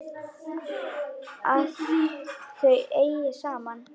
Að þau eigi saman.